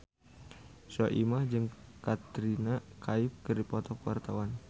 Soimah jeung Katrina Kaif keur dipoto ku wartawan